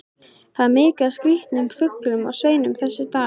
Það er mikið af skrýtnum fuglum á sveimi þessa dagana.